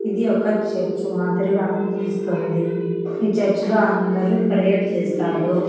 ఇది ఒక చర్చ్ మాదిరిగా అనిపిస్తుంది ఈ చర్చ్ లో అందరూ ప్రేయర్ చేస్తారు.